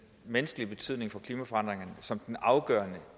menneskelige betydning for klimaforandringerne som afgørende